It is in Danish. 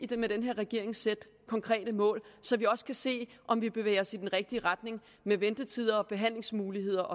den her regering sætte konkrete mål så vi også kan se om vi bevæger os i den rigtige retning med ventetider og behandlingsmuligheder